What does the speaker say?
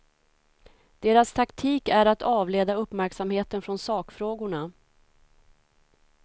Deras taktik är att avleda uppmärksamheten från sakfrågorna.